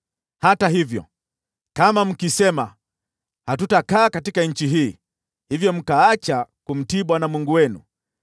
“Hata hivyo, kama mkisema, ‘Hatutakaa katika nchi hii,’ hivyo mkaacha kumtii Bwana Mungu wenu,